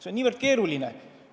See on väga keeruline.